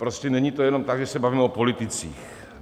Prostě není to jenom tak, že se bavíme o politicích.